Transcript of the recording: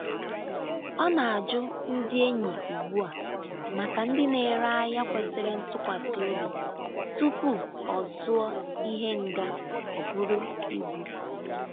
Ọ na-ajụ ndị enyi ugbu a maka ndị na-ere ahịa kwesịrị ntụkwasị obi tupu ọ zụọ ihe nga o buru ibu.